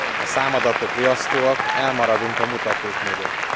A számadatok riasztóak, elmaradunk a mutatók mögött.